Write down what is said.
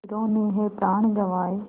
वीरों ने है प्राण गँवाए